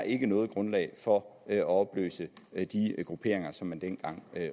ikke er noget grundlag for at opløse de grupperinger som man dengang